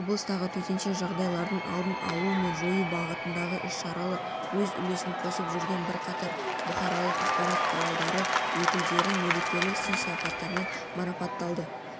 облыстағы төтенше жағдайлардың алдын алу мен жою бағытындағы іс-шараларға өз үлесін қосып жүрген бірқатар бұқаралық ақпарат құралдары өкілдерін мерекелік сый-сияпаттармен марапатталды